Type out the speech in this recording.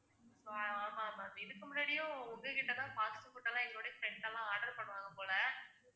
ஆமா ma'am இதுக்கு முன்னாடியும் உங்ககிட்டதான் fast food எல்லாம் எங்களுடைய friends எல்லாம் order பண்ணுவாங்க போல